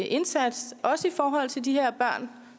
indsats også i forhold til de her børn